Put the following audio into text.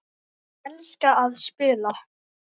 Ég elska að spila.